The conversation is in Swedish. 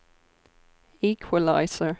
equalizer